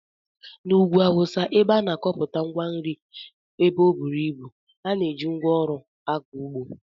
N'ugwu awụsa, ebe a na-akọpụta ngwa nri ebe ọ buru ibu, a na-eji ngwa ọrụ akọ ụgbọ